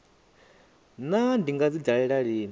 naa ndi nga dzi dalela lini